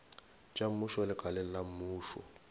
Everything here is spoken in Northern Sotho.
tša mmušo lekaleng la mmušo